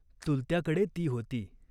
चुलत्याकडे ती होती.